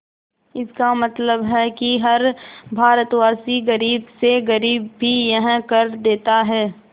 इसका मतलब है कि हर भारतवासी गरीब से गरीब भी यह कर देता है